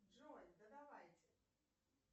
джой да давайте